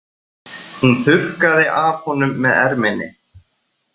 Hún þurrkaði af honum með erminni.